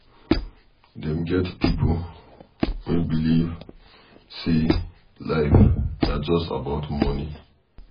Dem get pipo wey believe sey life na just about money